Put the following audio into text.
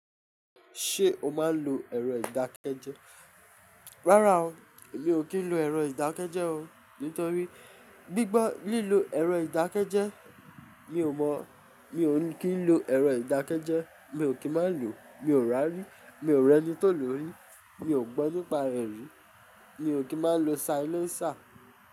Ṣé o máa ń lo ẹ̀rọ ìdákẹ́jẹ́? Rárá o, mi ò kí ń lo ẹ̀rọ ìdákẹ́jẹ́ o nítorí gbígbọ́ lílo ẹ̀rọ ìdákẹ́jẹ́ mi ò mọ̀, mi ò kí ń lo ẹ̀rọ ìdákẹ́jẹ́, mi ò kí má lo, mi ò rá rí, mi ò rẹ́ni tó lò rí, mi ò gbọ́ nípa rẹ̀ rí, mi ò kí má lo silencer.